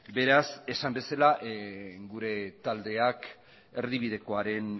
beraz esan bezala gure taldeak erdibidekoaren